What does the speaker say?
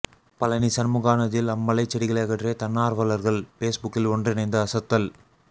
பழநி சண்முகா நதியில் அமலைச் செடிகளை அகற்றிய தன்னார்வலர்கள் பேஸ்புக்கில் ஒன்றிணைந்து அசத்தல்